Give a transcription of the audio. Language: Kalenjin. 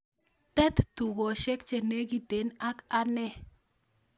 Tet tugoshiek chenegiten ak ane